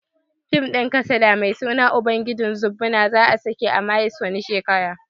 Fim din kasada mai suna ubangijin zobbuna za'a sake a maris wani shekara.